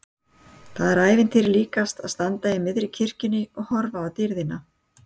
Það er ævintýri líkast að standa í miðri kirkjunni og horfa á dýrðina!